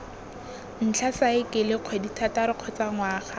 ntlha saekele kgwedithataro kgotsa ngwaga